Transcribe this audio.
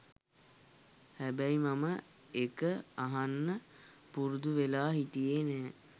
හැබැයි මම ඒක අහන්න පුරුදුවෙලා හිටියේ නැහැ.